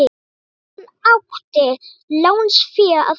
Hvaðan átti lánsfé að koma?